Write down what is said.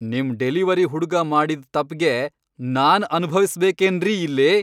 ನಿಮ್ ಡೆಲಿವರಿ ಹುಡ್ಗ ಮಾಡಿದ್ ತಪ್ಪ್ಗೆ ನಾನ್ ಅನ್ಭವ್ಸ್ಬೇಕೇನ್ರಿ ಇಲ್ಲಿ?!